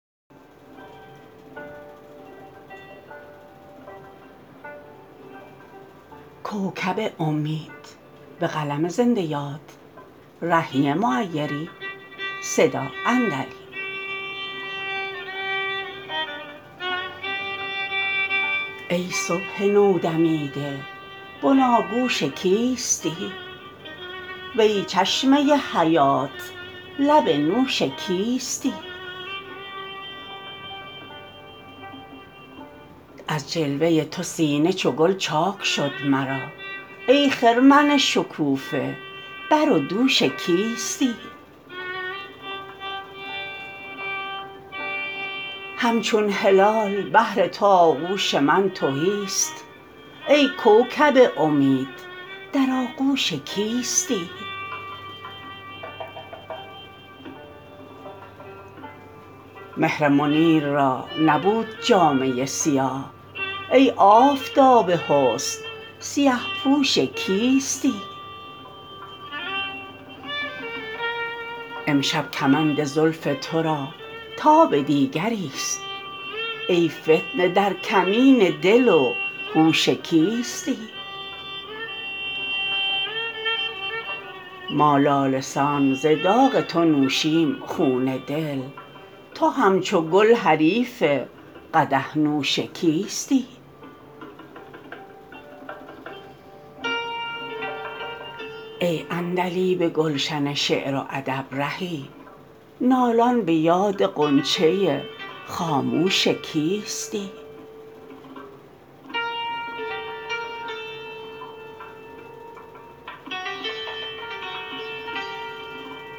ای صبح نودمیده بناگوش کیستی وی چشمه حیات لب نوش کیستی از جلوه تو سینه چو گل چاک شد مرا ای خرمن شکوفه بر و دوش کیستی همچون هلال بهر تو آغوش من تهی است ای کوکب امید در آغوش کیستی مهر منیر را نبود جامه سیاه ای آفتاب حسن سیه پوش کیستی امشب کمند زلف ترا تاب دیگری است ای فتنه در کمین دل و هوش کیستی ما لاله سان ز داغ تو نوشیم خون دل تو همچو گل حریف قدح نوش کیستی ای عندلیب گلشن شعر و ادب رهی نالان به یاد غنچه خاموش کیستی